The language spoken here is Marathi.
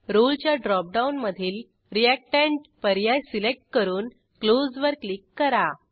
रोळे च्या ड्रॉपडाऊनमधील रिएक्टंट पर्याय सिलेक्ट करून क्लोज वर क्लिक करा